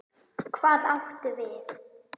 Hvað áttu við?